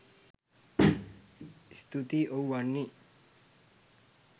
ස්තූතියි ඔව් වන්නි